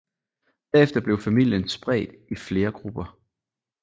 Derefter blev familien spredt i flere grupper